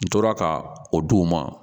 N tora ka o d'u ma